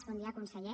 bon dia conseller